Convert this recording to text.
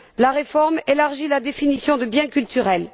La réforme élargit la définition de biens culturels.